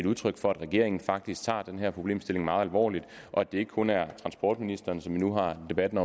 udtryk for at regeringen faktisk tager den her problemstilling meget alvorligt og at det ikke kun er transportministeren som vi nu har debatten